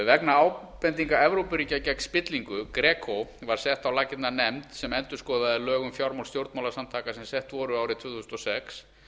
vegna ábendinga evrópuríkja gegn spillingu gegn var sett á laggirnar nefnd sem endurskoðaði lög um fjármál stjórnmálasamtaka sem sett voru árið tvö þúsund og sex